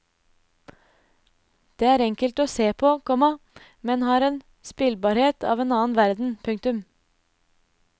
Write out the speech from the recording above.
Det er enkelt å se på, komma men har en spillbarhet av en annen verden. punktum